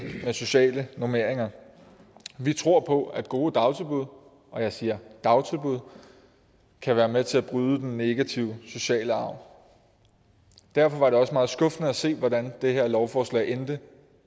med sociale normeringer vi tror på at gode dagtilbud og jeg siger dagtilbud kan være med til at bryde den negative sociale arv derfor var det også meget skuffende at se hvordan det her lovforslag endte